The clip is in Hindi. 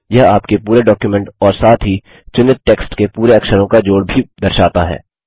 यह आपके पूरे डॉक्युमेंट और साथ ही चुनित टेक्स्ट के पूरे अक्षरों का जोड़ भी दर्शाता है